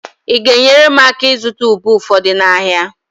Ị ga-enyere m aka ịzụta ube ụfọdụ n'ahịa?